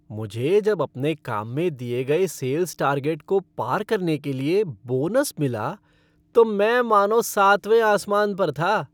मुझे जब अपने काम में दिये गए सेल्स टार्गेट को पार करने के लिए बोनस मिला तो मैं मानो सातवें आसमान पर था।